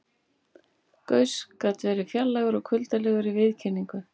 Gauss gat verið fjarlægur og kuldalegur í viðkynningu.